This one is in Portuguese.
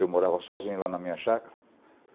Eu morava sozinho lá na minha chácara.